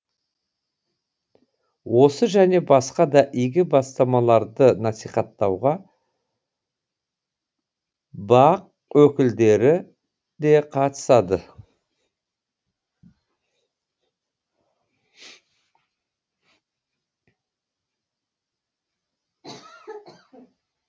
осы және басқа да игі бастамаларды насихаттауға бақ өкілдері де қатысады